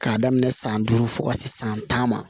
K'a daminɛ san duuru fo ka se san tan ma